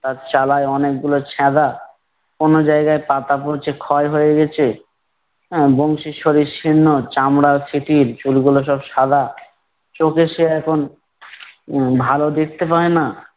তার চালায় অনেকগুলো ছ্যাদা, কোনো জায়গায় পাতা পচে ক্ষয় হয়ে গেছে, আহ বংশীর শরীর শীর্ণ চামড়া শিথিল চুলগুলো সব সাদা, চোখে সে এখন ভালো দেখতে পায় না